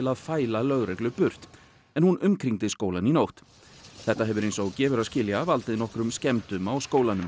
að fæla lögreglu burt en hún umkringdi skólann í nótt þetta hefur eins og gefur að skilja valdið nokkrum skemmdum á skólanum